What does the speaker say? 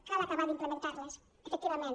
cal acabar d’implementar les efectivament